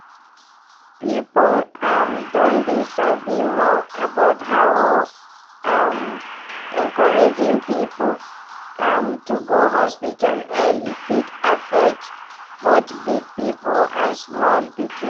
people um don dey sabi more about how um encouraging people um to go hospital early fit affect both big people and small pikin.